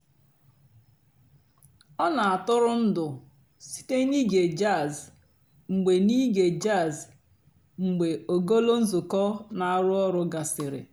ọ́ nà-àtụ́rụ́ ǹdụ́ sìté n'íge jàzz mg̀bé n'íge jàzz mg̀bé ògólo ǹzùkọ́ nà-àrụ́ ọ̀rụ́ gàsirị́.